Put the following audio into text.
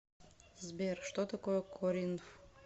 сбер что такое коринф